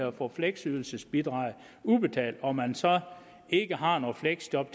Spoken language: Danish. at få fleksydelsesbidraget udbetalt og man så ikke har noget fleksjob